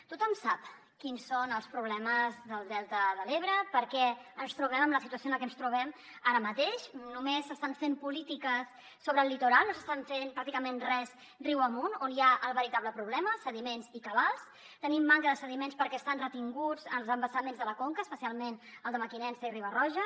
tothom sap quins són els problemes del delta de l’ebre per què ens trobem en la situació en la que ens trobem ara mateix només s’estan fent polítiques sobre el litoral no s’està fent pràcticament res riu amunt on hi ha el veritable problema sediments i cabals tenim manca de sediments perquè estan retinguts als embassaments de la conca especialment al de mequinensa i riba roja